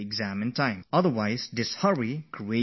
Otherwise such hurdles can cause new stress